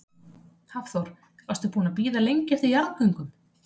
Hafþór: Varstu búin að bíða lengi eftir jarðgöngum?